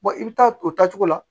i bɛ taa o taacogo la